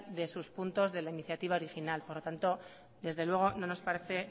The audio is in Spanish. de sus puntos de la iniciativa original por lo tanto desde luego no nos parece